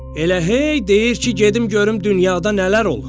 Elə hey deyir ki, gedim görüm dünyada nələr olur.